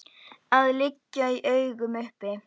að liggja í augum uppi.